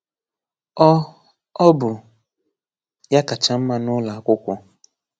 Ọ, Ọ bụ ya kacha mma nụlọ akwụkwọ